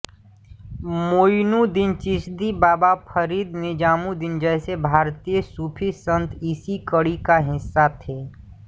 मोइनुद्दीन चिश्ती बाबा फरीद निज़ामुदीन जैसे भारतीय सूफी संत इसी कड़ी का हिस्सा थे